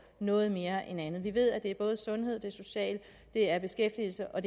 noget mere end en anden vi ved at det er både sundheds er social at det er beskæftigelses og